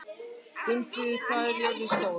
Gunnfríður, hvað er jörðin stór?